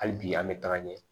Hali bi an bɛ taga ɲɛ